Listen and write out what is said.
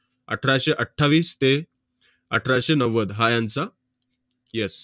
अठराशे अठ्ठावीस ते अठराशे नव्वद हा यांचा yes